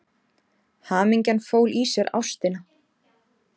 Hamingjan fól í sér ástina.